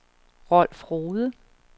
Rolf Rohde